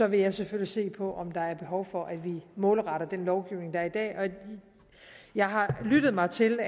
vil jeg selvfølgelig se på om der er behov for at vi målretter den lovgivning der er i dag jeg har lyttet mig til